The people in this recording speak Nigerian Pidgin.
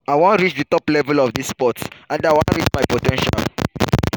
i wan reach di top level of dis sport and reach my po ten tial."